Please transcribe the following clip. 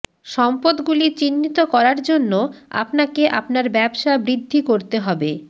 সম্পদগুলি চিহ্নিত করার জন্য আপনাকে আপনার ব্যবসা বৃদ্ধি করতে হবে